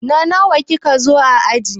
Na nawa ki ka zo a aji?